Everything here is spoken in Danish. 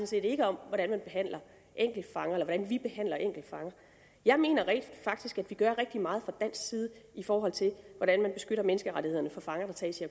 set ikke om hvordan man behandler enkeltfanger eller hvordan vi behandler enkeltfanger jeg mener rent faktisk at vi gør rigtig meget fra dansk side i forhold til hvordan man beskytter menneskerettighederne for fanger der tages i